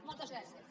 moltes gràcies